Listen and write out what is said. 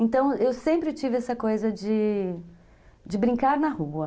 Então, eu sempre tive essa coisa de de brincar na rua.